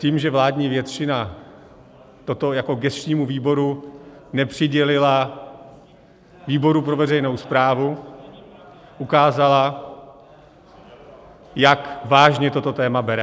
Tím, že vládní většina toto jako gesčnímu výboru nepřidělila výboru pro veřejnou správu, ukázala, jak vážně toto téma bere.